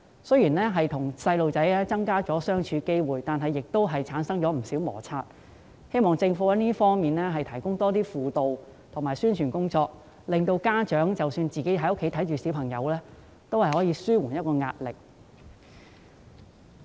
雖然他們與子女相處的機會增加，但同時也產生不少摩擦，希望政府可以在這方面增加輔導和宣傳，令家長即使在家照顧子女也有方法紓緩壓力。